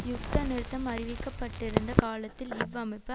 யுத்த நிறுத்தம் அறிவிக்க பட்டிருந்த காலத்தில் இவ் அமைப்பு